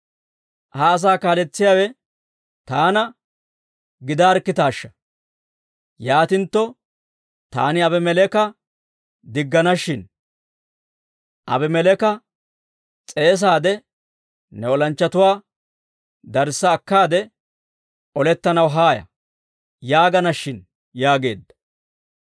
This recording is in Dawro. Ha asaa kaaletsiyaawe taana gidaarkkitaashsha! Yaatintto taani Aabimeleeka diggana shin. Aabimeleeka s'eesaade, ‹Ne olanchchatuwaa darissa akkaade, olettanaw haaya› yaagana shin» yaageedda.